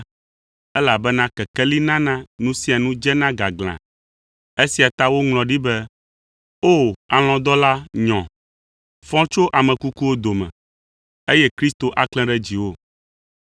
elabena kekeli nana nu sia nu dzena gaglãa. Esia ta woŋlɔ ɖi be, “O, alɔ̃dɔla nyɔ, fɔ tso ame kukuwo dome, eye Kristo aklẽ ɖe dziwò.”